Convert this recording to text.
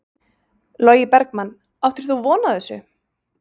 Logi Bergmann: Áttir þú von á þessu?